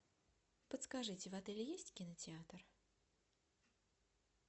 подскажите в отеле есть кинотеатр